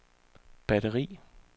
batteri